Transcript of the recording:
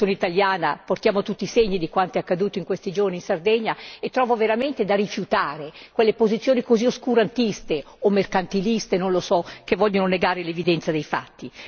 Io sono italiana, portiamo tutti i segni di quanto è accaduto in questi giorni in Sardegna, e trovo veramente da rifiutare quelle posizioni così oscurantiste o mercantiliste, che vogliono negare l'evidenza dei fatti.